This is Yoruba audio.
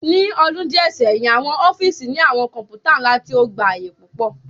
Ni ọdun diẹ sẹhin, awọn ọfiisi ni awọn kọǹpútà nla ti o gba aaye pupọ